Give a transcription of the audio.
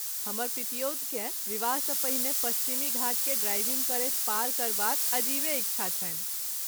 हमर पितियौतकेँ विवाहसँ पहिने पश्चिमी घाटकेँ ड्राइविंग करैत पार करबाक अजीबे इच्छा छनि।